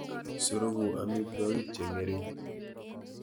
Suruku amitwogik cheng'ering'.